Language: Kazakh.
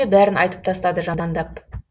бәрін айтып тастады жамандап